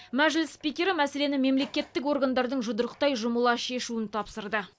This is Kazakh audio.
мәжіліс спикері мәселені мемлекеттік органдардың жұдырықтай жұмыла шешуін тапсырды